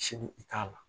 Sini i t'a la